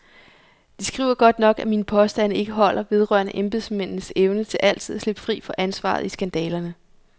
De skriver godt nok, at mine påstande ikke holder vedrørende embedsmændenes evne til altid at slippe fri fra ansvaret i skandalerne.